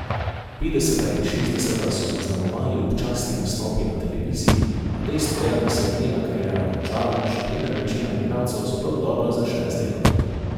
Petdeseta in šestdeseta so zaznamovali občasni nastopi na televiziji, a dejstvo je, da se je njena kariera končala, še preden večina igralcev sploh dobro začne z delom.